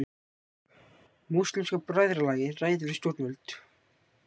Múslímska bræðralagið ræðir við stjórnvöld